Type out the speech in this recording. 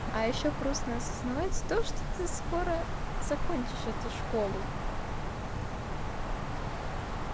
а ещё грустно осознавать то что ты скоро закончишь эту школу